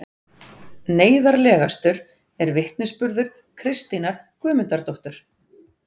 Neyðarlegastur er vitnisburður Kristínar Guðmundardóttur